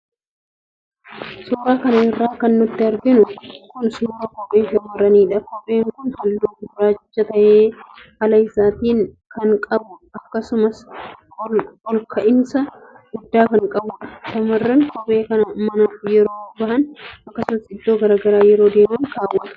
Suura kana irraa kan nuti arginu kun suuraa kophee shammarraniidha. Kopheen kun halluu gurraacha tahe ala isaatiin kan qabuu akkasumas ol kahiinsa guddaa kan qabuudha. Shammarranni kophee kana manaa yeroo bahan akkasuma iddoo garagaraa yeroo deeman kaawwatu.